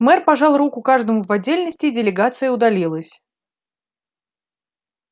мэр пожал руку каждому в отдельности и делегация удалилась